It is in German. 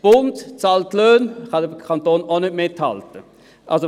Der Bund bezahlt Löhne, bei denen der Kanton auch nicht mithalten kann.